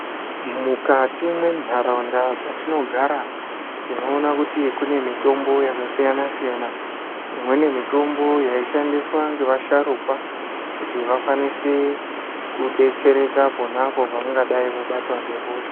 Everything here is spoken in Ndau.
Mukati mendaraunda dzatinogara tinoona kuti kune mitombo yakasiyana-siyana imweni mitombo yaishandiswa nevasharukwa kuti vakwanise kudetsereka ponapo pavanenge vakadai vabatwa nehosha.